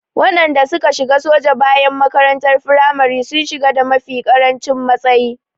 Waɗanda suka shiga soja bayan makarantar firamare sun shiga da mafi ƙarancin matsayi.